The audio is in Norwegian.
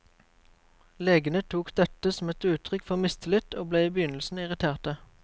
Legene tok dette som et uttrykk for mistillit og ble i begynnelsen irriterte.